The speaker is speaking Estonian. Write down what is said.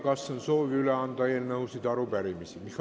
Kas on soovi üle anda eelnõusid või arupärimisi?